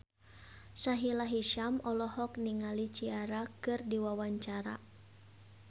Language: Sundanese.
Sahila Hisyam olohok ningali Ciara keur diwawancara